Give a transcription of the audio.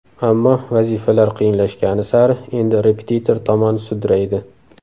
Ammo vazifalar qiyinlashgani sari endi repetitor tomon sudraydi.